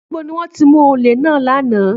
Níbo ni wọ́n ti mú olè náà lánàá?